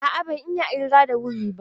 A'a, ban iya ƙirga da wuri ba.